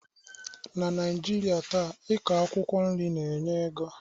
Na Naijirịa taa,i kọ akwụkwọ nri na-enye ego